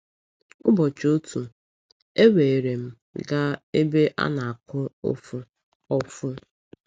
Ụbọchị otu, e weere m gaa ebe a na-akụ ọfụ.